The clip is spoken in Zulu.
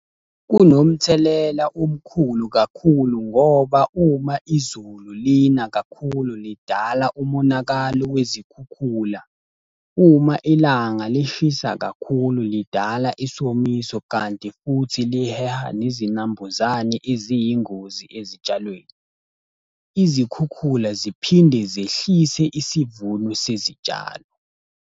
Kunomthelela omkhulu kakhulu ngoba uma izulu lina kakhulu lidala umonakalo wezikhukhula. Uma ilanga lishisa kakhulu lidala isomiso kanti futhi liheha nezinambuzane eziyingozi ezitshalweni. Izikhukhula ziphinde zehlise isivuno sezitshalo.